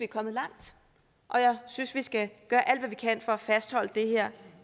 kommet langt og jeg synes vi skal gøre alt hvad vi kan for at fastholde det her